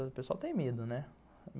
O pessoal tem medo, né?